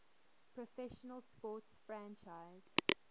professional sports franchise